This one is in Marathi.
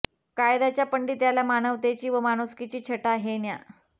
कायद्याच्या पांडित्याला मानवतेची व माणुसकीची छटा हे न्या